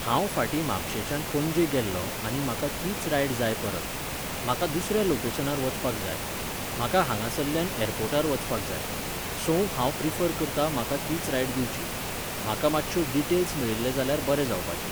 हांव फाटीं म्हापशेंच्यान पणजे गेल्लों आनी म्हाका तीच रायड जाय परत. म्हाका दुसऱ्या लोकेशनार वचपाक जाय. म्हाका हांगासल्ल्यान ऍरपोर्टार वचपाक जाय. सो, हांव प्रिफर करतां म्हाका तीच रायड दिवची. म्हाका मातश्यो डिटेल्स मेळिल्ले जाल्यार बरे जावापचें.